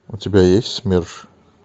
у тебя есть смерш